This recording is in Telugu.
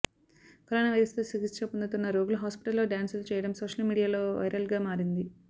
కరోనా వైరస్తో చికిత్స పొందుతున్న రోగులు హాస్పిటల్లో డ్యాన్సులు చేయడం సోషల్ మీడియాలో వైరల్గా మారింది